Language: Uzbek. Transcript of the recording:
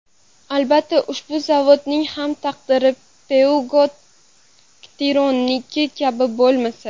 Albatta, ushbu zavodning ham taqdiri Peugeot-Citroen’niki kabi bo‘lmasa .